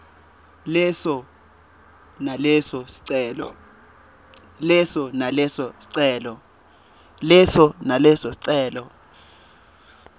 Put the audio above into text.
leso naleso sicelo